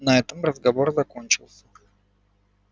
на этом разговор закончился